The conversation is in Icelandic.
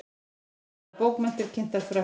Íslenskar bókmenntir kynntar Frökkum